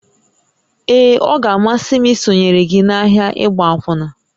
Ee, ọ ga-amasị m isonyere gị n'ahịa ịgba akwụna